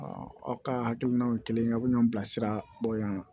aw ka hakilinaw ye kelen aw bɛ ɲɔn bila siraba kan